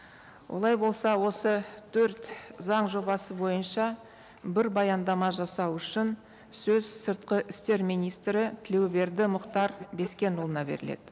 олай болса осы төрт заң жобасы бойынша бір баяндама жасау үшін сөз сыртқы істер министрі тілеуберді мұхтар бескенұлына беріледі